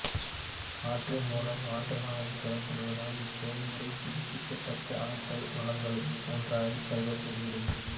காற்றின் மூலம் ஆற்றலானது பெறப்படுவதால் இச்செயல்முறை புதுப்பிக்கத்தக்க ஆற்றல் வளங்களுள் ஒன்றாகக் கருதப்படுகிறது